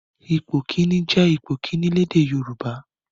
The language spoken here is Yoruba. Ipò kìíní' jẹ́ ipò kìíní lédè Yorùbá.